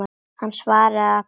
Hann svaraði að bragði.